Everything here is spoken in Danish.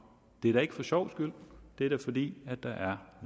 det er da ikke for sjovs skyld det er da fordi der er